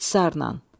İxtisarla.